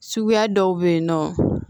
Suguya dɔw bɛ yen nɔ